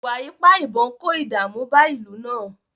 Ìwà ipá ìbọn kó ìdààmú bá ìlú náà